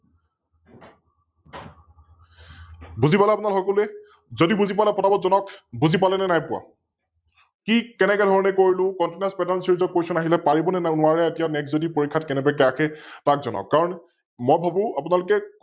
বুজি পালে আপোনালোক সকলোৱে? যদি বুজি পোৱা নাই পতা পত যনাৱক, বুজি পালে নে নাই পোৱা? কি? কেনেকেধৰণে কৰিলো? ContinousPatternSeries ৰ Question আহিলে পাৰিব নে নোৱাৰে এতিয়াও Next যদি পৰীক্ষাত কেনেবাকৈ আহে যনাৱক? কাৰন মই ভাবো